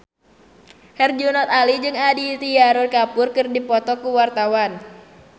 Herjunot Ali jeung Aditya Roy Kapoor keur dipoto ku wartawan